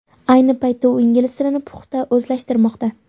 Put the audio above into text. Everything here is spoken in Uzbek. Ayni paytda u ingliz tilini puxta o‘zlashtirmoqda.